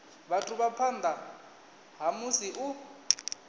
vhathu phanḓa ha musi u